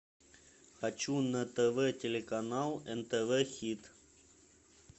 хочу на тв телеканал нтв хит